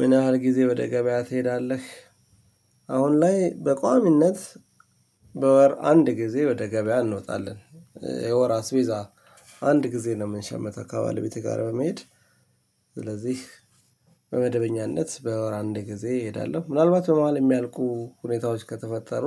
ምን ያህል ጊዜ ወደ ገበያ ትሄዳለህ? አሁን ላይ በቋሚነት በወር አንድ ጊዜ ወደ ገበያ እንወጣለን የወር አስቤዛ አንድ ጊዜ ነው የምንሸምተው ከባለቤቴ ጋር በመሄድ። ስለዚህ በመደበኛነት በወር አንድ ጊዜ እሄዳለሁ። ምናልባት በመሃል የሚያልቁ ሁኔታዎች ከተፈጠሩ